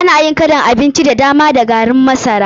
Ana yin kalan abinci da dama da garin masara.